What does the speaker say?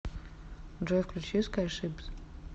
джой включи скайшипз